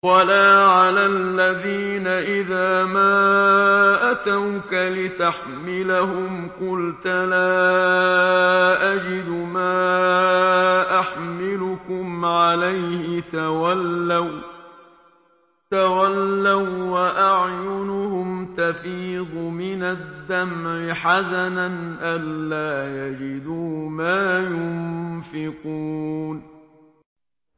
وَلَا عَلَى الَّذِينَ إِذَا مَا أَتَوْكَ لِتَحْمِلَهُمْ قُلْتَ لَا أَجِدُ مَا أَحْمِلُكُمْ عَلَيْهِ تَوَلَّوا وَّأَعْيُنُهُمْ تَفِيضُ مِنَ الدَّمْعِ حَزَنًا أَلَّا يَجِدُوا مَا يُنفِقُونَ